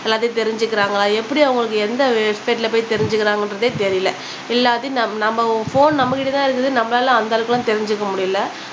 எல்லாத்தையும் தெரிஞ்சுக்குறாங்க ஆனா எப்பிடி அவங்களுக்கு எந்த வெப்சைட்ல போய் தெரிஞ்சுக்குறாங்கன்றதே தெரியல எல்லாத்தையும் நம்ம நம்ம ஃபோன் நம்மக்கிட்ட தான் இருக்குது நம்மளால அந்த அளவுக்குலாம் தெரிஞ்சுக்க முடியல